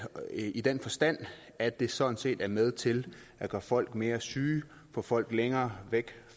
i den forstand at det sådan set er med til at gøre folk mere syge og få folk længere væk